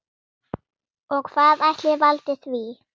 Og hvað ætli valdi því?